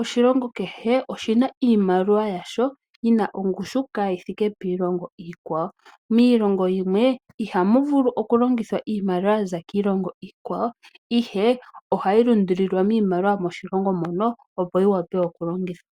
Oshilongo kehe oshina iimaliwa yasho yina ongushu kaayithike piilongo iikwawo. Miilongo yimwe ihamu vulu okulongithwa iimaliwa yaza kiilongo iikwawo ihe ohayi lundululilwa miimaliwa yomoshilongo mono opo yiwape okulongithwa.